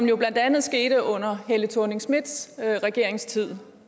jo blandt andet skete under helle thorning schmidts regeringstid